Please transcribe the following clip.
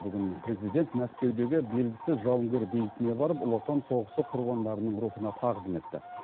бүгін президент мәскеудегі белгісіз жауынгер бейітіне барып ұлы отан соғысы құрбандарының рухына тағзым етті